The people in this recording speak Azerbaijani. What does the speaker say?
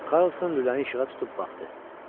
Karlson lüləni işığa tutub baxdı.